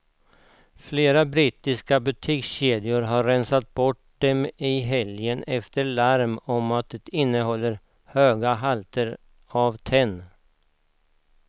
Flera brittiska butikskedjor har rensat bort dem i helgen efter ett larm om att de innehåller mycket höga halter av tenn.